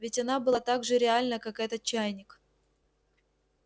ведь она была так же реальна как этот чайник